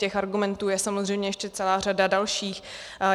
Těch argumentů je samozřejmě ještě celá řada dalších.